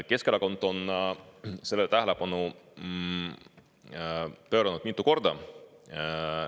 Keskerakond on sellele tähelepanu pööranud mitu korda.